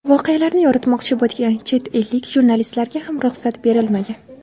Voqealarni yoritmoqchi bo‘lgan chet ellik jurnalistlarga ham ruxsat berilmagan.